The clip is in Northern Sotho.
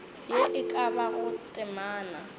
ye e ka bago temana